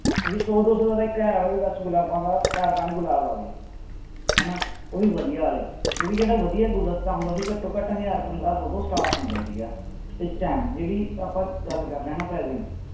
ਵੀ ਸੌ ਦੋ ਸੌ ਦਾ ਤਾਂ ਇੱਕ ਵੀ ਬਸ ਗੁਲਾਬਾਂ ਦਾ ਚਾਰ ਪੰਜ ਗੁਲਾਬ ਆ ਗਏ ਹਨਾ ਉਹ ਵੀ ਵਧੀਆ ਵਾਲੇ ਕਿਉਂਕਿ ਜਿਹੜਾ ਵਧੀਆ ਗੁਲਦਸ਼ਤਾ ਹੁੰਦਾ ਸੀ ਘੱਟੋ ਘੱਟ ਹਜ਼ਾਰ ਪੰਦਰਾਂ ਸੌ ਤੋਂ start ਹੁੰਦਾ ਸੀਗਾ ਇਸ time ਜਿਹੜੀ ਆਪਾਂ ਗੱਲ ਕਰ ਰਹੇ ਹਾਂ ਨਾ present ਚ,